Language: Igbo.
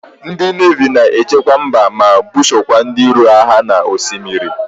Ndi nevi na-echekwa mba ma busokwa ndi iro agha n' osimiri.